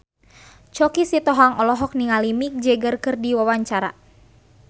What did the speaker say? Choky Sitohang olohok ningali Mick Jagger keur diwawancara